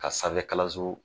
Ka sanfɛkalanso